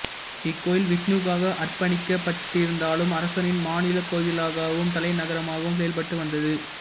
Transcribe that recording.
இக்கோயில் விஷ்ணுவுக்காக அர்ப்பணிக்க பட்டிருந்தாலும் அரசனின் மாநிலக்கோவிலாகவும் தலைநகரமாகவும் செயல்பட்டு வந்தது